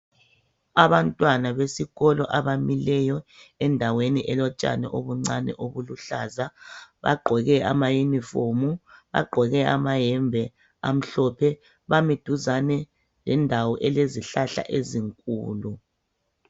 Abantwana besikolo abamileyo endaweni elotshani obuncane obuluhlaza ,bagqoke amayunifomu, lamayembe amhlophe bami duzane lendawo elezihlahla ezinkulu.